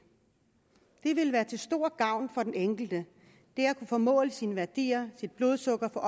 vil være til stor gavn for den enkelte får målt sine værdier og sit blodsukker og